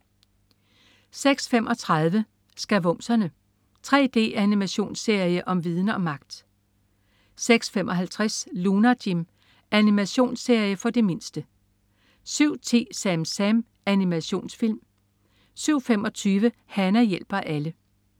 06.35 Skavumserne. 3D-animationsserie om viden og magt! 06.55 Lunar Jim. Animationsserie for de mindste 07.10 SamSam. Animationsfilm 07.25 Hana hjælper alle